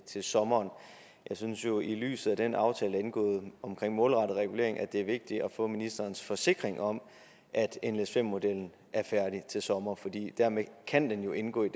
til sommer jeg synes jo at i lyset af den aftale indgået om målrettet regulering er det vigtigt at få ministerens forsikring om at nles5 modellen er færdig til sommer for dermed kan den jo indgå i